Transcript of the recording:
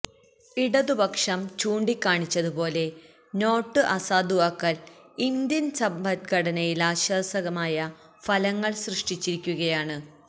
ഇടതുപക്ഷം ചൂണ്ടിക്കാണിച്ചതുപോലെ നോട്ട് അസാധുവാക്കല് ഇന്ത്യന് സമ്പദ്ഘടനയി ല്വിനാശകരമായ ഫലങ്ങള് സൃഷ്ടിച്ചിരിക്കുയാണ്